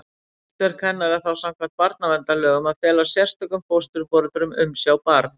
Hlutverk hennar er þá samkvæmt barnaverndarlögum að fela sérstökum fósturforeldrum umsjá barns.